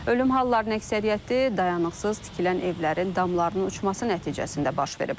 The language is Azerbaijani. Ölüm hallarının əksəriyyəti dayanıqsız tikilən evlərin damlarının uçması nəticəsində baş verib.